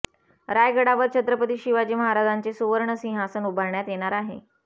रायगडावर छत्रपती शिवाजी महाराजांचे सुवर्ण सिंहासन उभारण्यात येणार आहे